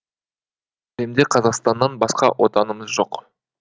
әлемде қазақстаннан басқа отанымыз жоқ